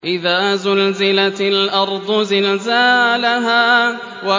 إِذَا زُلْزِلَتِ الْأَرْضُ زِلْزَالَهَا